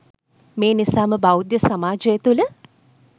මේ නිසාම බෞද්ධ සමාජය තුළ